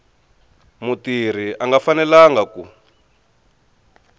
mutirhi a nga fanelanga ku